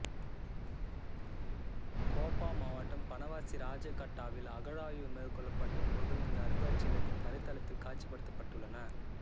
கோப்பா மாவட்டம் பனவசி ராஜகட்டாவில் அகழாய்வு மேற்கொள்ளப்பட்ட பொருள்கள் இந்த அருங்காட்சியகத்தின் தரைதளத்தில் காட்சிப்படுத்தப்பட்டுள்ளன